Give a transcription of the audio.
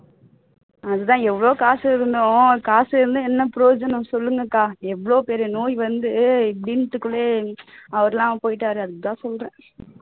அதுதான் எவ்வளவு காசு இருந்தோம் காசு இருந்தும் என்ன பிரயோஜனம் சொல்லுங்க அக்கா எவ்வளவு பெரிய நோய் வந்து வீட்டுக்குள்ளேயே அவர் எல்லாம் போயிட்டாரு அதுக்கு தான் சொல்றேன்